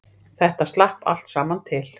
Þetta slapp allt saman til